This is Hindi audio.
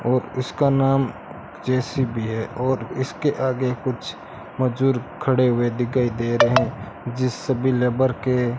और इसका नाम जे_सी_बी है और इसके आगे कुछ मजूर खड़े हुए दिगाई दे रहे जिस सभी लेबर के --